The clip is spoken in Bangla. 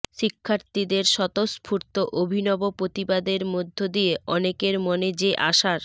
শিক্ষার্থীদের স্বতঃস্ফূর্ত অভিনব প্রতিবাদের মধ্য দিয়ে অনেকের মনে যে আশার